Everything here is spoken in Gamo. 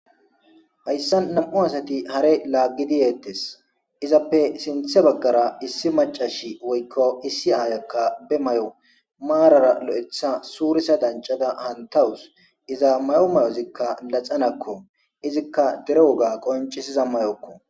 hayssa nam7u asati hare laaggidiyeettes izappe sinthe baggara issi macashi woykko issi aayakka be may7o maarara lo7etha suurisa dancada hantawus iza mayo may7ozikka laxanakko izikka dero woga qoncisiza mayokko